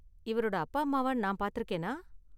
இவரோட அப்பா அம்மாவ நான் பார்த்திருக்கேனா?